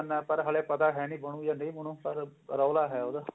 ਨਾ ਪਰ ਹਲੇ ਪਤਾ ਹੈ ਨੀ ਬਣੁ ਕੇ ਨਹੀਂ ਬਣੁ ਪਰ ਰੋਲਾ ਹੈ ਉਹਦਾ